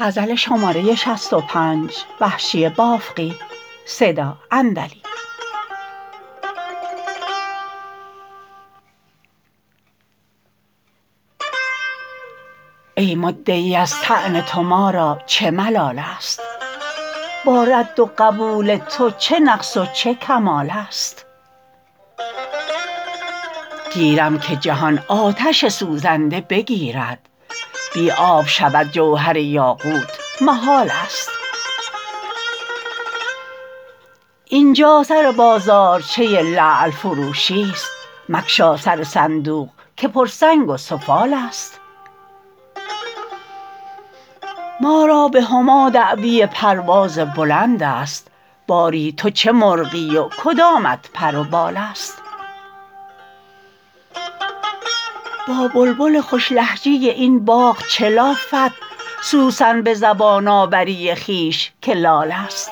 ای مدعی از طعن تو ما را چه ملالست با رد و قبول تو چه نقص و چه کمالست گیرم که جهان آتش سوزنده بگیرد بی آب شود جوهر یاقوت محالست اینجا سر بازارچه لعل فروشیست مگشا سر صندوق که پر سنگ و سفالست مارا به هما دعوی پرواز بلند است باری تو چه مرغی و کدامت پر و بالست با بلبل خوش لهجه این باغ چه لافد سوسن به زبان آوری خویش که لالست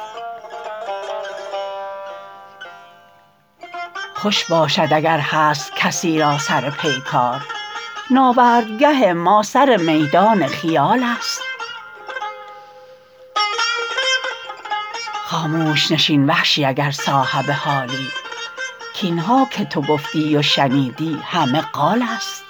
خوش باشد اگر هست کسی را سر پیکار ناورد گه ما سر میدان خیالست خاموش نشین وحشی اگر صاحب حالی کاینها که تو گفتی و شنیدی همه قالست